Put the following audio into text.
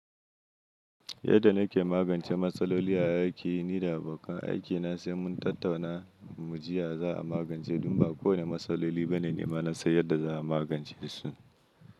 Yadda nake magance matsaloli a aiki ni da abokan aikina sai mun tattauna mu jiya za a magance don ba kowane matsaloli bane nima na san yadda za a magance su.